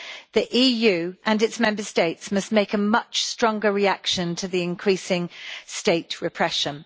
The EU and its Member States must make a much stronger reaction to the increasing state repression.